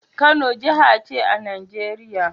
Kano jaha ce a Nigeria